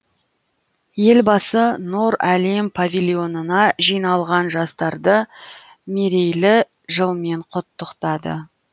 елбасы нұр әлем павильонына жиналған жастарды мерейлі жылмен құттықтады